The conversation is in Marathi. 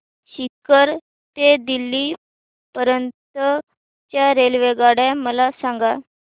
सीकर ते दिल्ली पर्यंत च्या रेल्वेगाड्या मला सांगा